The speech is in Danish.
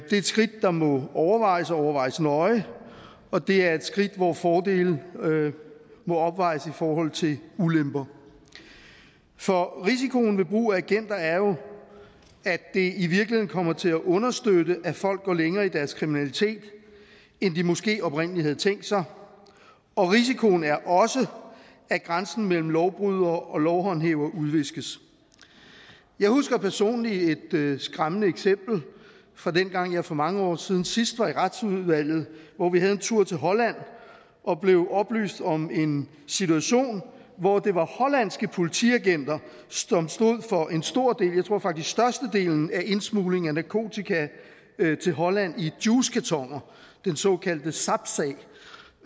et skridt der må overvejes og overvejes nøje og det er et skridt hvor fordele må opvejes i forhold til ulemper for risikoen ved brug af agenter er jo at det i virkeligheden kommer til at understøtte at folk går længere i deres kriminalitet end de måske oprindelig havde tænkt sig risikoen er også at grænsen mellem lovbrydere og lovhåndhævere udviskes jeg husker personligt et skræmmende eksempel fra dengang jeg for mange år siden sidst var medlem af retsudvalget hvor vi havde en tur til holland og blev oplyst om en situation hvor det var hollandske politiagenter som stod for en stor del jeg tror faktisk størstedelen af indsmugling af narkotika til holland i juicekartoner den såkaldte sapsag